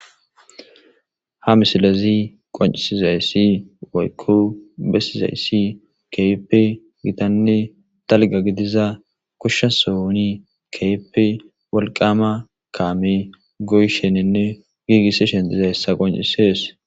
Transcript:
Ha misilezi qoncisizayssi woykku bessizayssi keipe gitanne talga gidiza kushsha sooni keepe wolqama kaame goysheninne giigissi shentiza hessa qoncisees.